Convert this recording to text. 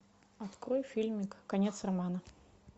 открой фильмик конец романа